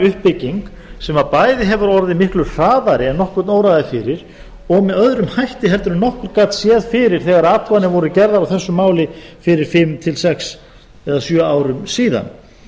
uppbygging sem bæði hefur orðið miklu hraðari en nokkurn óraði fyrir og með öðrum hætti heldur en nokkur gat séð fyrir þegar athuganir voru gerðar á þessu máli fyrir fimm til sex eða sjö árum síðan